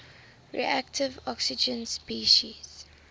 reactive oxygen species